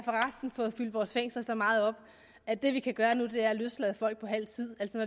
fået fyldt vores fængsler så meget op at det vi kan gøre nu er at løslade folk på halv tid altså